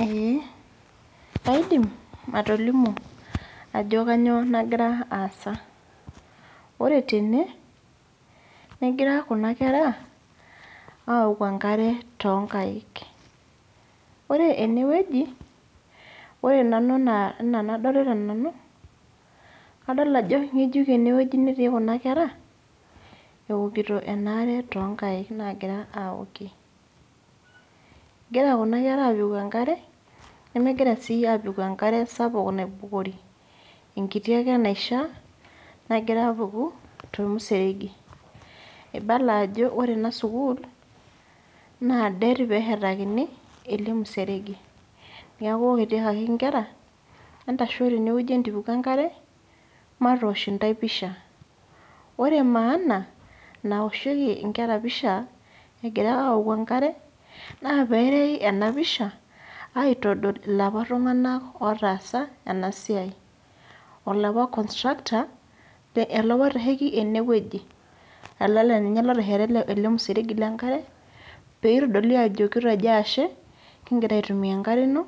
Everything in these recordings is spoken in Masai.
Ee, kaidim atolimu ajo kanyioo nagira aasa. Ore tene, negira kuna kera aoku enkare tonkaik. Ore enewueji, ore nanu enaa enadolita nanu, kadol ajo ng'ejuk enewueji netii kuna kera, eokito enare tonkaik nagira aokie. Egira kuna kera apiku enkare, nemegira si apiku enkare sapuk naibukori. Enkiti ake naishaa, nagira apuku, tormuseregi. Ibala ajo ore ena sukuul, naa det peshetakini, ele museregi. Neeku kitiakaki nkera, entasho tenewueji entipiku enkare, matosh intae pisha. Ore maana nawoshieki inkera pisha, egira aoku enkare, na perei enapisha, aitodol ilapa tung'anak otaasa, enasiai. Olapa constructor, olapa oitasheki enewueji. Ele laninye otesheta ele museregi lenkare, peitodoli ajo kitejo ashe, kigira aitumia enkare ino,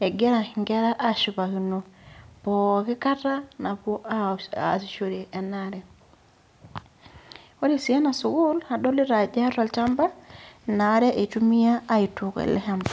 egira nkera ashipakino pooki kata napuo aasishore enaare. Ore si ena sukuul, adolita ajo eeta olchamba, inaare itumia aitook ele shamba.